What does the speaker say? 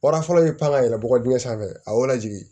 Wara fɔlɔ bɛ pan ka yɛlɛ bɔgɔ dingɛ sanfɛ a y'o lajigin